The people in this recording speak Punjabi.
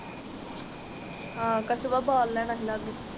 ਆਹ ਕਛੁਆ